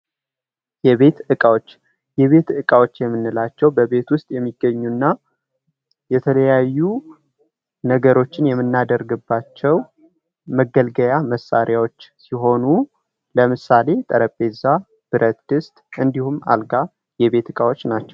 የቤት እቃዎች የቤት እቃዎች የምንላቸው በቤት ውስጥ የሚገኙ እና የተለያዩ ነገሮችን የምናደርግባቸው መገልገያ መሳሪያዎች ሲሆኑ ለምሳሌ ጠረንጴዛ ፣ብርት ድስት እንዲሁም አልጋ የቤት እቃዎች ናቸው ።